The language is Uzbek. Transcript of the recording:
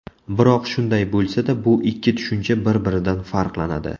Biroq shunday bo‘lsada, bu ikki tushuncha bir-biridan farqlanadi.